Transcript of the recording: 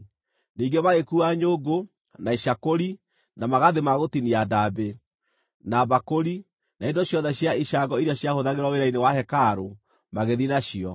Ningĩ magĩkuua nyũngũ, na icakũri, na magathĩ ma gũtinia ndaambĩ, na mbakũri, na indo ciothe cia icango iria ciahũthagĩrwo wĩra-inĩ wa hekarũ, magĩthiĩ nacio.